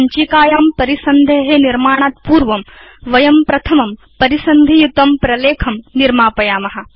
सञ्चिकायां परिसन्धे निर्माणात् पूर्वं वयं प्रथमं परिसन्धियुतं प्रलेखं निर्मापयाम